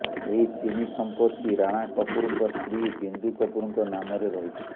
ଏହି ତିନି ସମ୍ପତ୍ତି ରାଣା କପୁରଙ୍କ ସ୍ତ୍ରୀ ବିନ୍ଦୁ କପୁରଙ୍କ ନାମରେ ରହିଛି